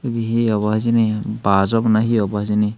ebe hi abow hijeni baaj abow na hi obo hijeni.